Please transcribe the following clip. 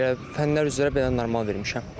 Belə fənlər üzrə belə normal vermişəm.